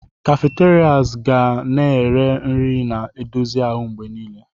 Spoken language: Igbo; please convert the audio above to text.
Cafeterias ga na-ere nri na-edozi ahụ mgbe niile.